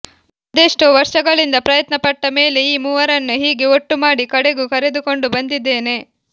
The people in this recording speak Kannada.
ಅದೆಷ್ಟೋ ವರ್ಷಗಳಿಂದ ಪ್ರಯತ್ನ ಪಟ್ಟ ಮೇಲೆ ಈ ಮೂವರನ್ನೂ ಹೀಗೇ ಒಟ್ಟು ಮಾಡಿ ಕಡೆಗೂ ಕರೆದುಕೊಂಡು ಬಂದಿದ್ದೇನೆ